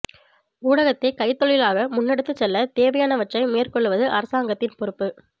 ஊடகத்தை கைத்தொழிலாக முன்னெடுத்துச் செல்ல தேவையானவற்றை மேற்கொள்ளுவது அரசாங்கத்தின் பொறுப்பு